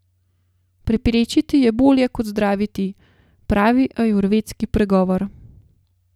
Preprečiti je bolje kot zdraviti, pravi ajurvedski pregovor.